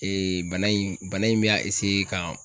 Ee bana in bana in be a eseye ka